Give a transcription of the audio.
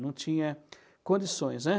Não tinha condições, né?